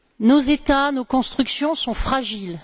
Nos États, nos constructions sont fragiles.